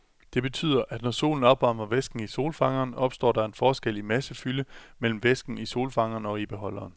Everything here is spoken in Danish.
Det betyder, at når solen opvarmer væsken i solfangeren, opstår der en forskel i massefylde mellem væsken i solfangeren og i beholderen.